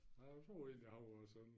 Nej jeg troede egentlig han var sådan